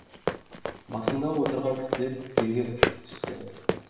басында отырған кісілер жерге ұшып түсті